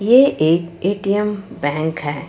ये एक A .T .M bank है।